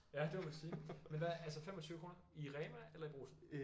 Ja det må man sige men hvad altså 25 kroner i Rema eller i Brugsen